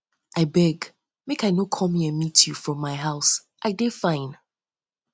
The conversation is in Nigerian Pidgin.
i beg make i no come here meet you from my you from my house i dey fine